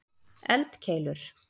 eldkeilur